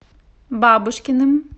бабушкиным